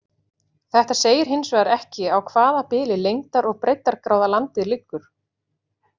Þetta segir hins vegar ekki á hvaða bili lengdar- og breiddargráða landið liggur.